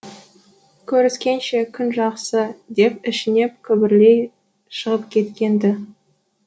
көріскенше күн жақсы деп күбірлей шығып кеткен ді